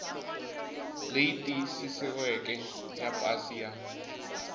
leyi tiyisisiweke ya pasi ya